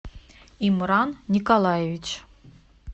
имран николаевич